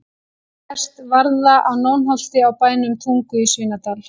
Hér sést varða á Nónholti á bænum Tungu í Svínadal.